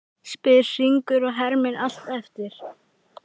spyr Hringur og hermir allt eftir.